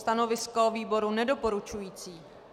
Stanovisko výboru nedoporučující.